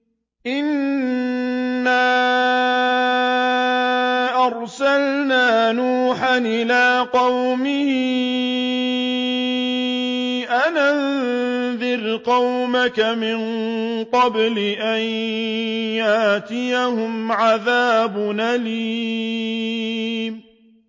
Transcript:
إِنَّا أَرْسَلْنَا نُوحًا إِلَىٰ قَوْمِهِ أَنْ أَنذِرْ قَوْمَكَ مِن قَبْلِ أَن يَأْتِيَهُمْ عَذَابٌ أَلِيمٌ